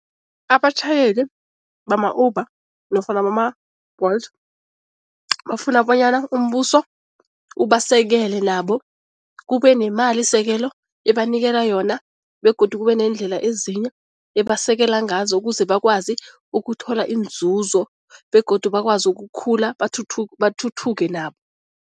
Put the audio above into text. Abatjhayeli bama-Uber nofana bama-Bolt bafuna bonyana umbuso ubasekele nabo, kube nemalisekelo ebanikela yona begodu kube neendlela ezinye ebasekela ngazo ukuze bakwazi ukuthola iinzuzo begodu bakwazi ukukhula, bathuthuke nabo.